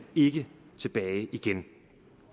ikke tilbage til igen